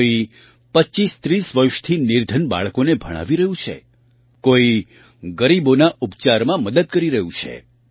કોઈ 2530 વર્ષથી નિર્ધન બાળકોને ભણાવી રહ્યું છે કોઈ ગરીબોના ઉપચારમાં મદદ કરી રહ્યું છે